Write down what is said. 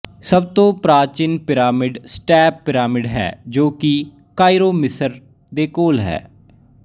ਸਬਤੋਂ ਪ੍ਰਾਚੀਨ pyramid step pyramid ਹੈ ਜੋ ਕੀ ਕਾਇਰੋ ਮਿਸਰ ਦੇ ਕੋਲ ਹੈ